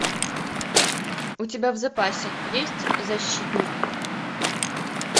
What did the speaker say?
у тебя в запасе есть защитник